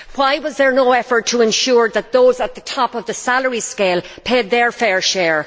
Why was there no effort to ensure that those at the top of the salary scale paid their fair share?